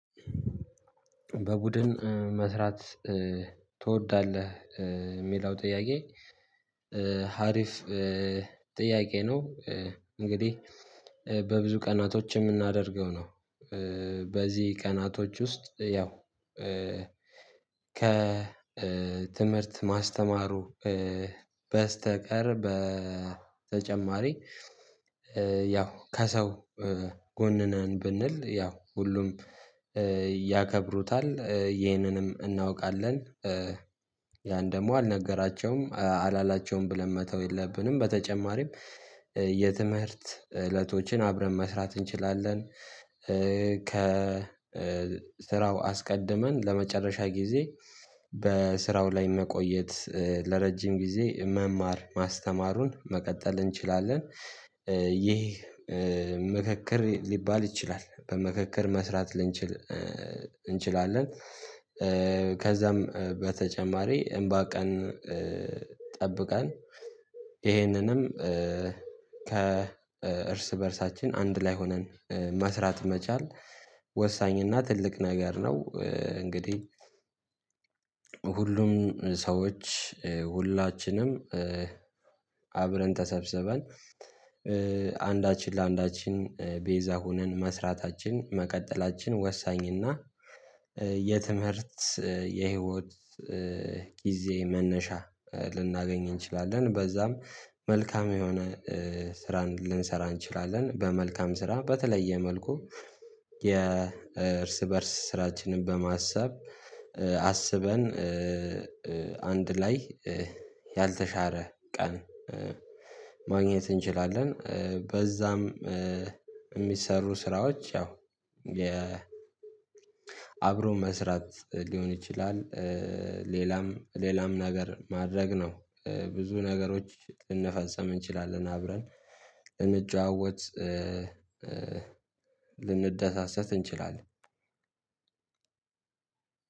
በቡድን መስራት ትወዳለህ? የሚለው ጥያቄ አሪፍ ጥያቄ ነው። እንግዲህ በብዙ ቀናቶች የምናደርገው ነው። በዚህ ቀናቶች ውስጥ ያው ከትምህርት ማስተማሩ በስተቀር በተጨማሪ ያው ከሰው ጎን ነን ብንል፣ ያው ሁሉም ያከብሩታል፤ ይህንንም እናውቃለን። ያን ደግሞ አልነገራቸውም አላላቸውም ብለን መተው የለብንም፤ በተጨማሪም የትምህርት ዕለቶችን አብረን መስራት እንችላለን። ከስራው አስቀድመን ለመጨረሻ ጊዜ በስራው ላይ መቆየት፣ ለረጅም ጊዜ መማር ማስተማሩን መቀጠል እንችላለን። ምክክር ሊባል ይችላል፤ በምክክር መስራት ልንችል እንችላለን። ከዚያም በተጨማሪ አምባ ቀን ጠብቀን ይህንንም ከእርስ በእርሳችን አንድ ላይ ሆነን መስራት መቻል ወሳኝና ትልቅ ነገር ነው እንግዲህ ሁሉም ሰዎች ሁላችንም አብረን ተሰብስበን፣ ለአንዳችን ቤዛ ሆነን መስራታችን፣ መቀጠላችን ወሳኝና የትምህርት የህይወት ጊዜ መነሻ ልናገኝ እንችላለን፤ በዚያም መልካም የሆነ ስራን ልንሰራ እንችላለን። በመልካም ስራ በተለየ መልኩ የእርስ በእርስ ስራችንን በማሰብ፣ አስበን ላይ ያልተሻረ ቀን ማግኘት እንችላለን። በዚያም የሚሰሩ ስራዎች ያው የ አብሮ መስራት ሊሆን ይችላል፤ ሌላም ሌላም ነገር ማድረግ ነው። ብዙ ነገሮችን ልንፈጽም እንችላለን፤ አብረን ልንጨዋወት፣ ልንደሰት እንችላለን።